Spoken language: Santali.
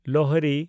ᱞᱳᱦᱨᱤ